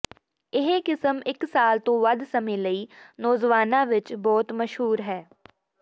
ਇਹ ਕਿਸਮ ਇੱਕ ਸਾਲ ਤੋਂ ਵੱਧ ਸਮੇਂ ਲਈ ਨੌਜਵਾਨਾਂ ਵਿੱਚ ਬਹੁਤ ਮਸ਼ਹੂਰ ਹੈ